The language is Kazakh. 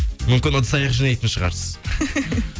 мүмкін ыдыс аяқ жинайтын шығарсыз